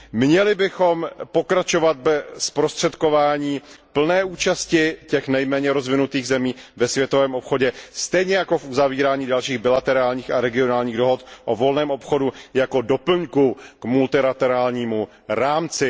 Měli bychom pokračovat ve zprostředkování plné účasti těch nejméně rozvinutých zemí ve světovém obchodě, stejně jako v uzavírání dalších bilaterálních a regionálních dohod o volném obchodu jako doplňku k multilaterálnímu rámci.